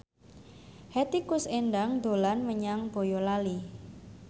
Hetty Koes Endang dolan menyang Boyolali